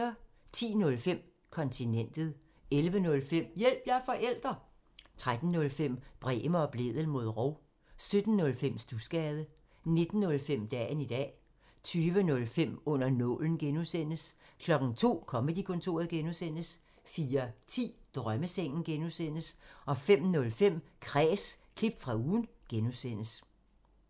10:05: Kontinentet 11:05: Hjælp – jeg er forælder! 13:05: Bremer og Blædel mod rov 17:05: Studsgade 19:05: Dagen i dag 20:05: Under nålen (G) 02:00: Comedy-kontoret (G) 04:10: Drømmesengen (G) 05:05: Kræs – klip fra ugen (G)